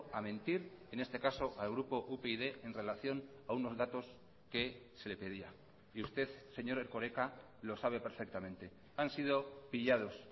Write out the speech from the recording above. a mentir en este caso al grupo upyd en relación a unos datos que se le pedía y usted señor erkoreka lo sabe perfectamente han sido pillados